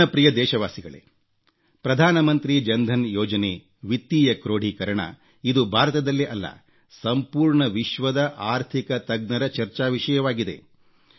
ನನ್ನ ಪ್ರಿಯ ದೇಶವಾಸಿಗಳೇ ಪ್ರಧಾನಮಂತ್ರಿ ಜನ್ಧನ್ ಯೋಜನೆ ವಿತ್ತೀಯ ಕ್ರೋಢೀಕರಣ ಇದು ಭಾರತದಲ್ಲೇ ಅಲ್ಲ ಸಂಪೂರ್ಣ ವಿಶ್ವದ ಆರ್ಥಿಕ ತಜ್ಞರ ಚರ್ಚಾ ವಿಷಯವಾಗಿದೆ